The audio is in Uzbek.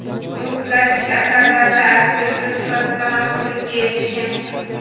U klassik asarlarda aktrisa sifatida mashhurlikka erishgan.